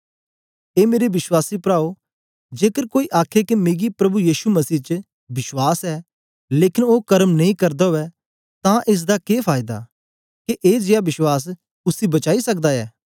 ए मेरे विश्वासी पराओ जेकर कोई आखे के मिकी प्रभु यीशु मसीह च विश्वास ऐ लेकन ओ कर्म नेई करदा उवै तां एस दा के फायदा के ए जेया विश्वास उसी बचाई सकदा दा ऐ